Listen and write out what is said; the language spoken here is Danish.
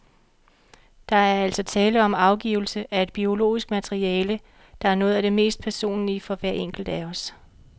Der er altså tale om afgivelse af et biologisk materiale, der er noget af det mest personlige for hver enkelt af os.